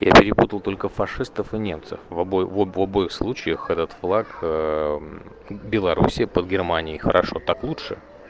я перепутал только фашистов и немцев в обоих случаях этот флаг белоруссии под германии хорошо так лучше